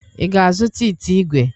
Ị ga-azụta ite ígwè?